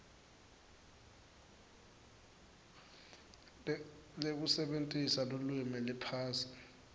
lekusebentisa lulwimi liphasi